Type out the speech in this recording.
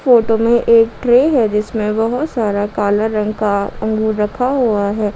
Photo में एक tray है जिसमें बहोत सारा काला रंग का अंगूर रखा हुआ है।